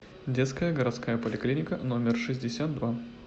детская городская поликлиника номер шестьдесят два